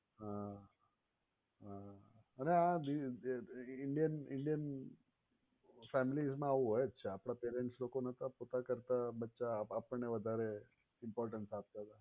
હાં હાં અને આ જે indian indian families માં આવું હોય જ છે આપણા parents લોકો નહોતા પોતા કરતાં બચ્ચાં આપણને વધારે importance આપતા હતાં.